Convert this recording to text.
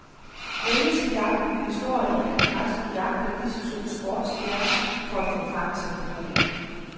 Menneskejagten består i, at pressen jagter disse to sportsstjerner for at få fakta på bordet.